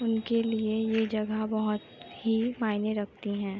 उनके लिए ये जगह बोहोत ही मायने रखती है।